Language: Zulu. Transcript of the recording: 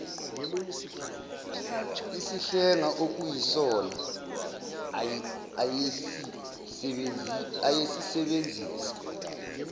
isihlenga okuyisona ayesisebenzisa